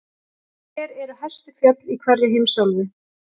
Hver eru hæstu fjöll í hverri heimsálfu?